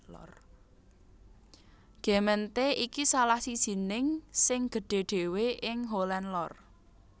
Gemeente iki salah sijining sing gedhé dhéwé ing Holland Lor